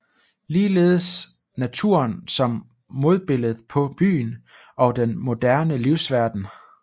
Ligeledes naturen som modbilledet på byen og den moderne livsverden